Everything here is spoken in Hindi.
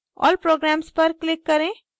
all programs पर click करें